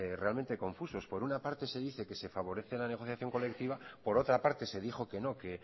realmente confusos por una parte se dice que se favorece la negociación colectiva por otra parte se dijo que no que